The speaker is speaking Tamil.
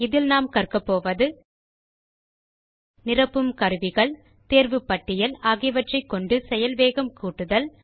இதில் நாம் கற்கப்போவது நிரப்பும் கருவிகள் தேர்வு பட்டியல் ஆகியவற்றைக்கொண்டு செயல் வேகம் கூட்டுதல்